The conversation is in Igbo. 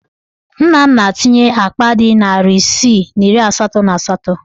Nna m na-etinye akpa dị narị isii na iri asatọ na asatọ.